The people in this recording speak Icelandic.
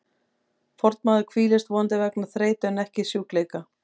Fornmaður hvílist, vonandi vegna þreytu en ekki sjúkleika.